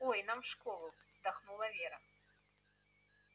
ой нам в школу вздохнула вера